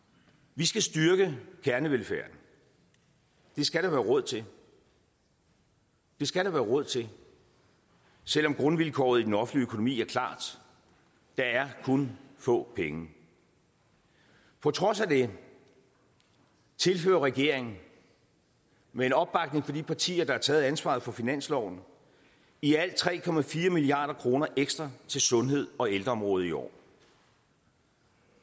vi skal styrke kernevelfærden det skal der være råd til det skal der være råd til selv om grundvilkåret i den offentlige økonomi er klart der er kun få penge på trods af det tilfører regeringen med en opbakning fra de partier der har taget ansvaret for finansloven i alt tre milliard kroner ekstra til sundhed og ældreområdet i år